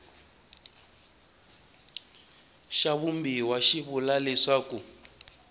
xa vumbiwa xi vula leswaku